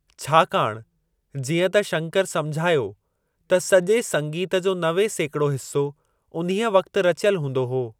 छाकाणि जीअं त शंकर समुझायो त सजे॒ संगीत जो नवे सेकिड़ो हिस्सो उन्हीअ वक़्तु रचियलु हूंदो हो।